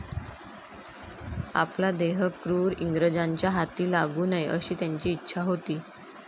आपला देह क्रूर इंग्रजांच्या हाती लागू नये अशी त्यांची इच्छा होती.